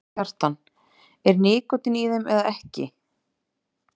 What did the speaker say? Kjartan: Er nikótín í þeim eða ekki?